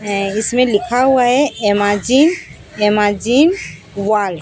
है इसमें लिखा हुआ है एमाजीन एमाजीन वॉल ।